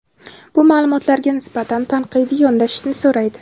bu maʼlumotlarga nisbatan tanqidiy yondashishni so‘raydi.